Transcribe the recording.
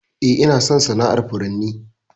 Eh, Ina son sana'ar furanni.